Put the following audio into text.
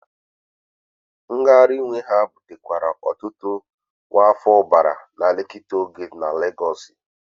Ngagharị iwe ha butekwara ọtụtụ nkwafu ọbara na Lekki Toll Gate na Legosi.